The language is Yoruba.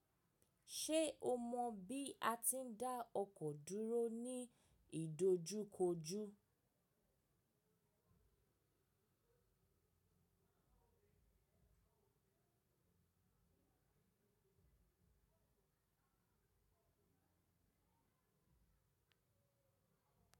Ṣé o mọ bí a ti ń dá ọkọ̀ dúró ní ìdojúkojú?